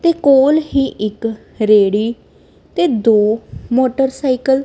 ਤੇ ਕੋਲ ਹੀ ਇੱਕ ਰੇੜੀ ਤੇ ਦੋ ਮੋਟਰਸਾਈਕਲ --